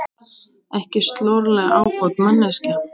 Ekki slorleg ábót manneskja!